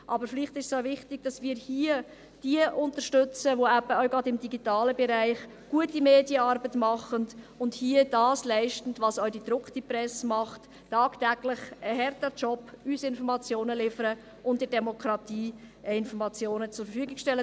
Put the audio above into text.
Aber vielleicht ist es auch wichtig, dass wir hier diejenigen unterstützen, die gerade auch im digitalen Bereich gute Medienarbeit machen und hier das leisten, was auch die gedruckte Presse tut, nämlich tagtäglich ein harter Job, um uns Informationen zu liefern und der Demokratie Informationen zur Verfügung zu stellen.